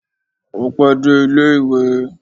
Ó pẹ́ dé ilé ìwé